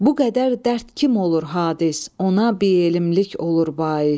Bu qədər dərd kim olur hadis, ona bielmlik olur bais.